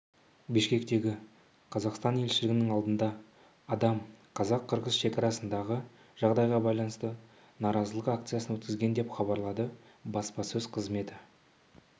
бішкектегі қазақстан елшілігінің алдында адам қазақ-қырғыз шекарасындағы жағдайға байланысты наразылық акциясын өткізген деп хабарлады баспасөз қызметі